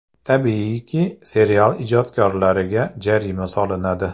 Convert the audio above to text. Tabiiyki, serial ijodkorlariga jarima solinadi.